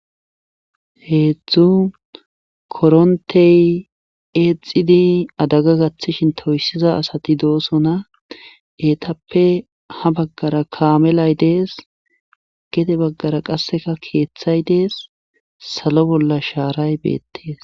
Heedzdzu koronthe eexxidi adaga gathishin toyssiza asati doosona eetappe ha baggara kaamelay dees gede baggara qassikka keethay dees salo bolla shaaray beettes.